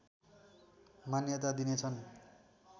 मान्यता दिनेछन्